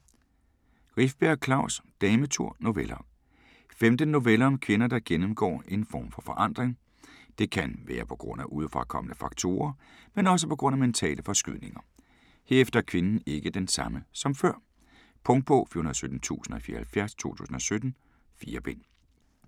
Rifbjerg, Klaus: Dametur: noveller Femten noveller om kvinder, der gennemgår en form for forandring. Det kan være pga. udefrakommende faktorer, men også pga. mentale forskydninger. Herefter er kvinden ikke den samme som før. Punktbog 417074 2017. 4 bind.